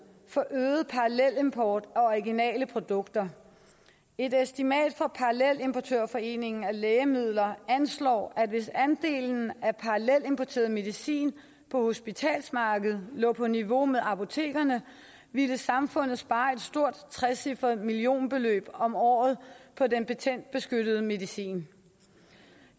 for øget parallelimport af originale produkter et estimat fra parallelimportørforeningen af lægemidler anslår at hvis andelen af parallelimporteret medicin på hospitalsmarkedet lå på niveau med apotekernes ville samfundet spare et stort trecifret millionbeløb om året på den patentbeskyttede medicin